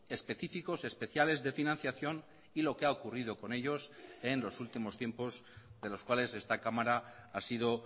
específicos especiales de financiación y lo que ha ocurrido con ellos en los últimos tiempos de los cuales esta cámara ha sido